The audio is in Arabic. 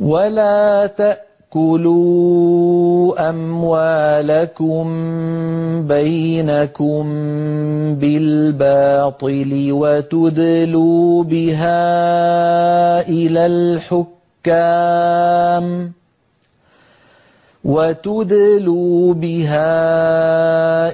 وَلَا تَأْكُلُوا أَمْوَالَكُم بَيْنَكُم بِالْبَاطِلِ وَتُدْلُوا بِهَا